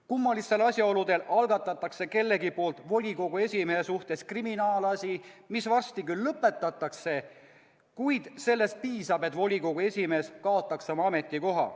Kummalistel asjaoludel algatatakse kellegi poolt volikogu esimehe suhtes kriminaalasi, mis varsti küll lõpetatakse, kuid sellest piisab, et volikogu esimees kaotaks oma ametikoha.